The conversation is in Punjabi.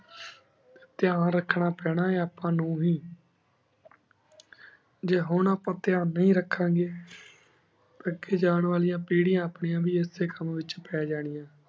ਤੇਯਾਂ ਰਖਣਾ ਪਾਨਾ ਆਯ ਅਪਾ ਨੂ ਵੀ ਜੀ ਹੁਣ ਅਪਾ ਤ੍ਰ੍ਯਾਂ ਨੀ ਰਖਣ ਗੀ ਜਾਨ ਵਾਲ਼ਾ ਪੇਰੇਯਾਂ ਆਪਣੀ ਵੀ ਏਸੀ ਕਾਮ ਵੇਚ ਪਾਜਾਨਿਯਾਂ